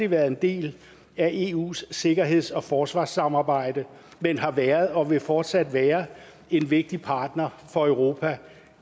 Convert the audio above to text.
været en del af eus sikkerheds og forsvarssamarbejde men har været og vil fortsat være en vigtig partner for europa